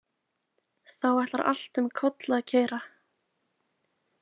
Þá ætlar allt um koll að keyra.